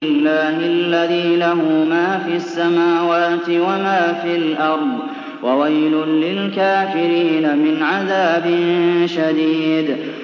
اللَّهِ الَّذِي لَهُ مَا فِي السَّمَاوَاتِ وَمَا فِي الْأَرْضِ ۗ وَوَيْلٌ لِّلْكَافِرِينَ مِنْ عَذَابٍ شَدِيدٍ